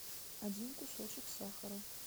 один кусочек сахара